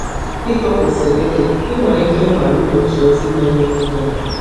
Dị ka o kwesịrị ịdị, ị nwere ike ịhọrọ igbochi ozi na-emenye ihere.